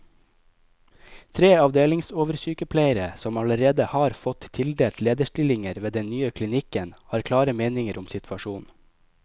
Tre avdelingsoversykepleiere, som allerede har fått tildelt lederstillinger ved den nye klinikken, har klare meninger om situasjonen.